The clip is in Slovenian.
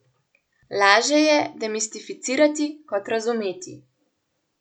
Lažje je demistificirati kot razumeti.